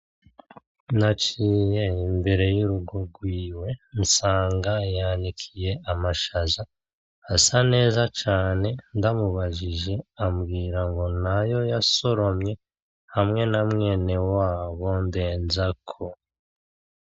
Naciye mbere y'urugo rwiwe nsanga yanikiye amashaza asa neza cane ndamubajije abwira ngo nayo yasoromye hamwe na mwenewabo Ndenzako.